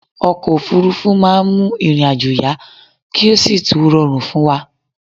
Okò òfúrufú ma n mu ìrìn ajo yá ki o si tún rorùn fún wa